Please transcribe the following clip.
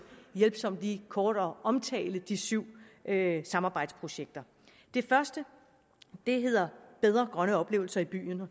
hjælpsomt lige kort at omtale de syv samarbejdsprojekter det første hedder bedre grønne oplevelser i byen og